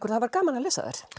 það var gaman að lesa þær